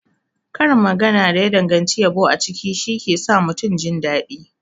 Karin magana da ya danganci yabo a ciki shike sa mutum jindaɗi.